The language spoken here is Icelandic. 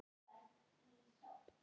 Spurðu mig.